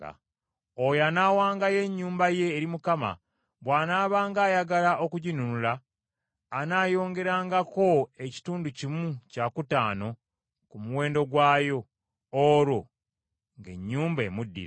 Oyo anaawangayo ennyumba ye eri Mukama bw’anaabanga ayagala okuginunula, anaayongerangako ekitundu kimu kyakutaano ku muwendo gwayo, olwo ng’ennyumba emuddira.